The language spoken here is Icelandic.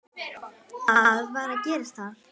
Hvað var að gerast þar?